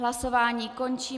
Hlasování končím.